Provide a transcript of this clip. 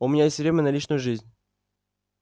у меня есть время на личную жизнь